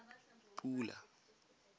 pula